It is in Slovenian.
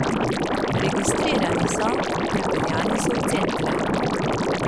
Registrirani so, prepeljani so v centre.